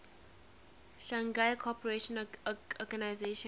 shanghai cooperation organization